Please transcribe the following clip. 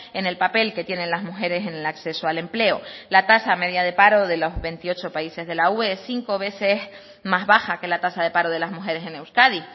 en el papel que tienen las mujeres en el acceso al empleo la tasa media de paro de los veintiocho países de la ue es cinco veces más baja que la tasa de paro de las mujeres en euskadi